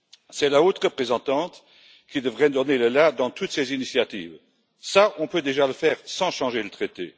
C'est la haute représentante qui devrait donner le la dans toutes ces initiatives. Cela, on peut déjà le faire, sans changer le traité.